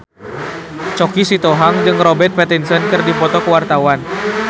Choky Sitohang jeung Robert Pattinson keur dipoto ku wartawan